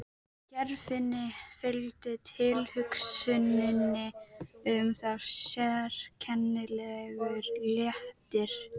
Geirfinni fylgdi tilhugsuninni um það sérkennilegur léttir.